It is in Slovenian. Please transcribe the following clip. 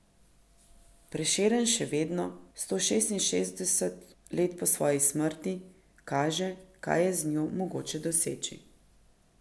Prešeren še vedno, sto šestinšestdeset let po svoji smrti, kaže, kaj je z njo mogoče doseči.